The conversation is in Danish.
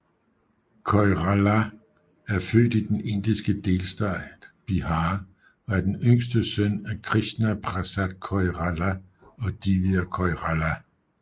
Koirala er født i den indiske delstat Bihar og er den yngste søn af Krishna Prasad Koirala og Divya Koirala